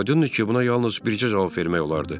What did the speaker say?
Aydındır ki, buna yalnız bircə cavab vermək olardı.